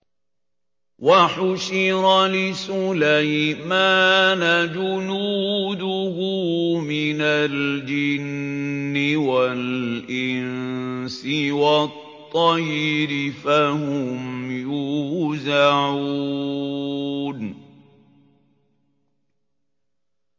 وَحُشِرَ لِسُلَيْمَانَ جُنُودُهُ مِنَ الْجِنِّ وَالْإِنسِ وَالطَّيْرِ فَهُمْ يُوزَعُونَ